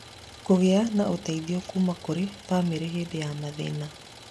Kũgĩa na ũteithio kuuma kũrĩ bamĩrĩ hĩndĩ ya mathĩna